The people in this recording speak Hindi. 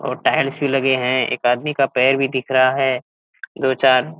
और टाइल्स भी लगे हैं एक आदमी का पैर भी दिख रहा है दो चार।